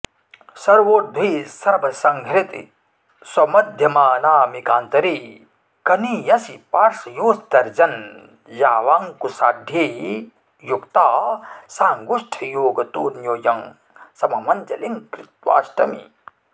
सर्वोर्ध्वे सर्वसंहृति स्वमध्यमानामिकान्तरे कनीयसि पार्श्वयोस्तर्जन्यावङ्कुशाढ्ये युक्ता साङ्गुष्ठयोगतोऽन्योन्यं सममञ्जलिं कृत्वाष्टमी